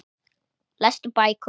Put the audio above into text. Lestu bækur?